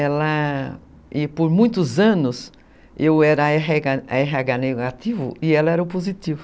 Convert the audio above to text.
Ela... e por muitos anos eu era a erre erre agá negativo e ela era o positivo.